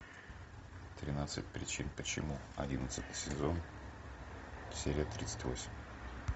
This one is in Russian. тринадцать причин почему одиннадцатый сезон серия тридцать восемь